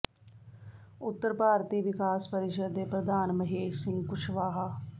ਉੱਤਰ ਭਾਰਤੀ ਵਿਕਾਸ ਪਰਿਸ਼ਦ ਦੇ ਪ੍ਰਧਾਨ ਮਹੇਸ਼ ਸਿੰਘ ਕੁਸ਼ਵਾਹਾ